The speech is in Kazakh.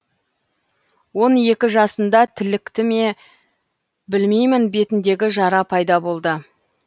он екі жасында тілікті ме білмеймін бетіндегі жара пайда болды